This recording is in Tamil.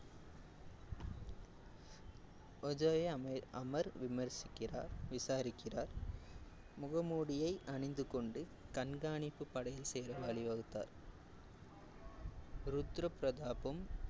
அமர் அமர் விமர்சிக்கிறார் விசாரிக்கிறார். முகமூடியை அணிந்து கொண்டு கண்காணிப்பு படையில் சேர வழிவகுத்தார். ருத்ர பிரதாப்பும்